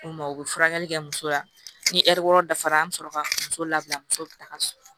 U ma u bɛ furakɛli kɛ muso la ni ɛri wɔɔrɔ dafara an bɛ sɔrɔ ka muso labila muso bɛ taga so